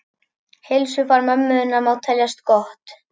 Heilsufar mömmu þinnar má teljast gott.